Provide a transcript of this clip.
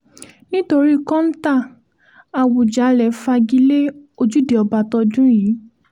nítorí kóńtà àwùjalè fagi lé ojúde ọba tọdún yìí